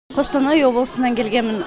қостанай облысынан келгенмін